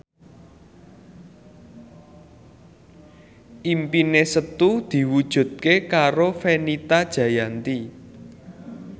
impine Setu diwujudke karo Fenita Jayanti